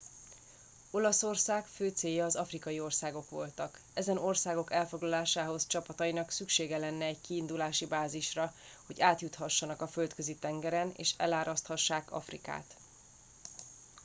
olaszország fő célja az afrikai országok voltak ezen országok elfoglalásához csapatainak szüksége lenne egy kiindulási bázisra hogy átjuthassanak a földközi tengeren és eláraszthassák afrikát